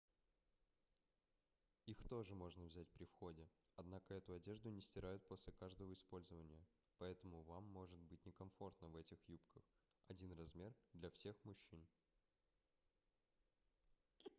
их тоже можно взять при входе однако эту одежду не стирают после каждого использования поэтому вам может быть некомфортно в этих юбках один размер для всех мужчин